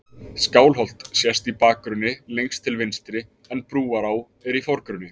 skálholt sést í bakgrunni lengst til vinstri en brúará er í forgrunni